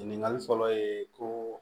Ɲininkali fɔlɔ ye ko